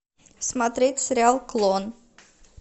смотреть сериал клон